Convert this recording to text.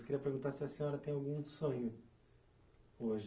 Eu queria perguntar se a senhora tem algum sonho hoje.